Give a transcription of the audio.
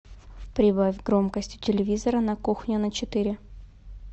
прибавь громкость у телевизора на кухне на четыре